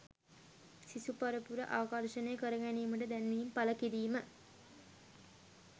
සිසු පරපුර ආකර්ෂණය කරගැනීමට දැන්වීම් පළකිරීම